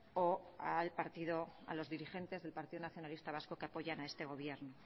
o a los dirigentes del partido nacionalista vasco que apoyan a este gobierno